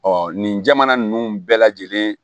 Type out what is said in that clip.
nin jamana nunnu bɛɛ lajɛlen